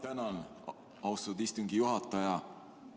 Tänan, austatud istungi juhataja!